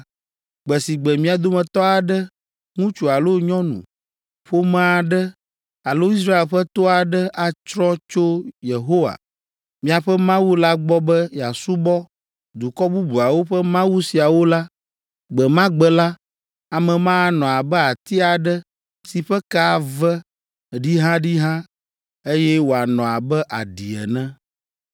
Gbe si gbe mia dometɔ aɖe, ŋutsu alo nyɔnu, ƒome aɖe alo Israel ƒe to aɖe atrɔ tso Yehowa, miaƒe Mawu la gbɔ be yeasubɔ dukɔ bubuawo ƒe mawu siawo la, gbe ma gbe la, ame ma anɔ abe ati aɖe si ƒe ke ave ɖihaɖiha, eye wòanɔ abe aɖi ene.